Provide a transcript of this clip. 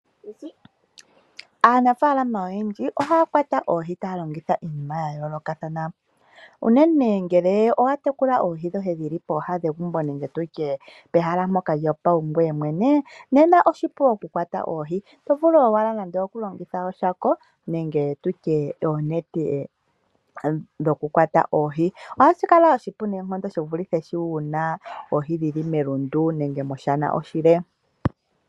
Aanafalama oyendji ohaya kwata oohi taya longitha iinima ya yoolokathana, uunene ngele owa tekula oohi dhoye dhili pooha negumbo nenge tutye pehala lyoye lyo paungoye mwene, nena oshipu oku kwata oohi, oto vulu owala nando oku longitha oshako nenge tutye oonete dho kukwata oohi. Ohashi kala oshipu noonkondo, shi vulithe shi wuna oohi dhili melundu nenge moshana oshile.